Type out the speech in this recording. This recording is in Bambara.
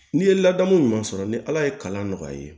N'i ye ladamu ɲuman sɔrɔ ni ala ye kalan nɔgɔya i ye